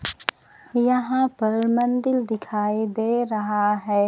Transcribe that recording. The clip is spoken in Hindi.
यहां पर मंदिल दिखाई दे रहा है।